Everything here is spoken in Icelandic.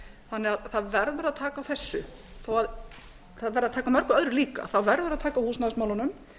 þannig að það verður að taka á þessu það verður að taka á mörgu öðru líka það verður að taka á húsnæðismálunum